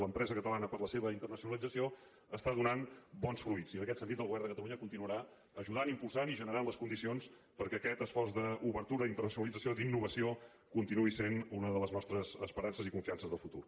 l’empresa catalana per la seva internacionalització està donant bons fruits i en aquest sentit el govern de catalunya continuarà ajudant impulsant i generant les condicions perquè aquest esforç d’obertura i internacionalització d’innovació continuï sent una de les nostres esperances i confiances del futur